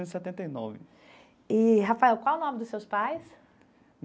E setenta e nove. E Rafael, qual o nome dos seus pais?